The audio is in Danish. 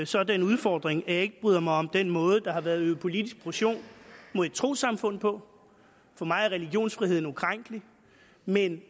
så den udfordring at jeg ikke bryder mig om den måde der har været øvet politisk pression mod et trossamfund på for mig er religionsfriheden ukrænkelig men